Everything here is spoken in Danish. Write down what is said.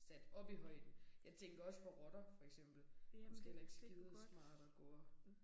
Sat op i højden jeg tænker også for rotter for eksempel måske heller ikke skidesmart at gå og